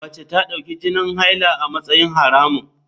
Mace ta dauki jinin haila a matsayin haramun.